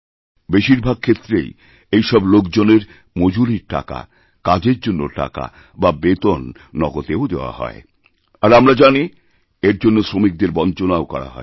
বেশিরভাগক্ষেত্রেই এই সব লোকজনের মজুরীর টাকা কাজের জন্য টাকা বা বেতন নগদেও দেওয়া হয় আরআমরা জানি এর জন্য শ্রমিকদের বঞ্চনাও করা হয়